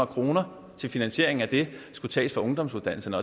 kroner til finansiering af det skulle tages fra ungdomsuddannelserne